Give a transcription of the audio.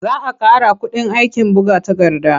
Za a ƙara kuɗin aikin buga takarda.